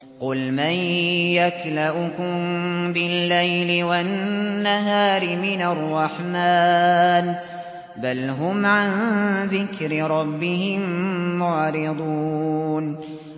قُلْ مَن يَكْلَؤُكُم بِاللَّيْلِ وَالنَّهَارِ مِنَ الرَّحْمَٰنِ ۗ بَلْ هُمْ عَن ذِكْرِ رَبِّهِم مُّعْرِضُونَ